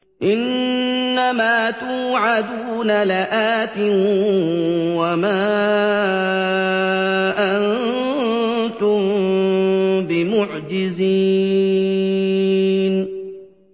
إِنَّ مَا تُوعَدُونَ لَآتٍ ۖ وَمَا أَنتُم بِمُعْجِزِينَ